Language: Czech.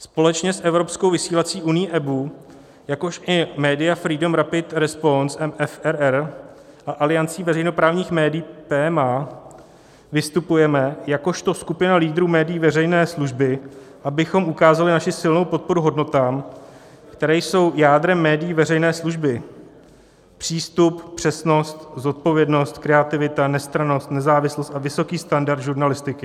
Společně s evropskou vysílací unií EBU, jakož i Media Freedom Rapid Response - MFRR a Aliancí veřejnoprávních médií PMA, vystupujeme jakožto skupina lídrů médií veřejné služby, abychom ukázali naši silnou podporu hodnotám, které jsou jádrem médií veřejné služby: přístup, přesnost, zodpovědnost, kreativita, nestrannost, nezávislost a vysoký standard žurnalistiky.